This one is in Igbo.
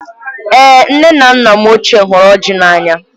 Èé! nne na nna m ochié hụrụ ọjị n'anya.